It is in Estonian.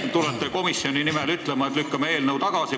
Te tulete komisjoni nimel ütlema, et lükkame eelnõu tagasi.